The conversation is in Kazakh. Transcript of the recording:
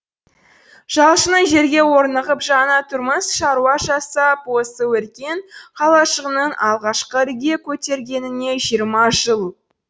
жалшының жерге орнығып жана тұрмыс шаруа жасап осы өркен қалашығының алғашқы ірге көтергеніне жиырма жыл